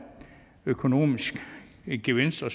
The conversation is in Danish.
økonomiske gevinster